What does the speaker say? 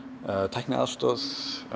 tækniaðstoð